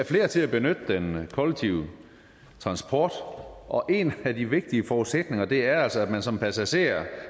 flere til at benytte den kollektive transport og en af de vigtige forudsætninger er altså at man som passager